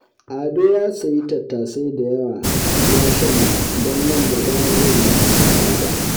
Ado ya sayi tattasai da yawa ya shanya don nan gaba zai yi tsada